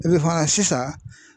sisan